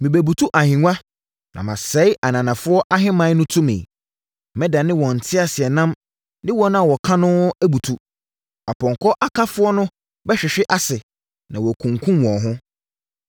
Mɛbutu ahennwa, na masɛe ananafoɔ ahemman no tumi. Mɛdane wɔn nteaseɛnam ne wɔn a wɔka no abutu. Apɔnkɔ akafoɔ no bɛhwehwe ase na wɔakunkum wɔn ho.